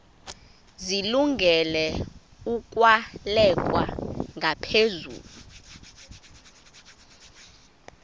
zilungele ukwalekwa ngaphezulu